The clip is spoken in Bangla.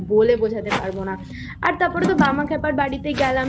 বলে বোঝাতে পারবো না তারপর বামাখ্যাপার বাড়িতে গেলাম